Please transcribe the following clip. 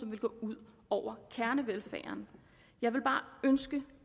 ville gå ud over kernevelfærden jeg ville bare ønske